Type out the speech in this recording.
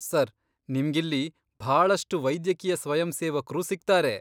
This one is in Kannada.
ಸರ್, ನಿಮ್ಗಿಲ್ಲಿ ಭಾಳಷ್ಟ್ ವೈದ್ಯಕೀಯ ಸ್ವಯಂಸೇವಕ್ರು ಸಿಗ್ತಾರೆ.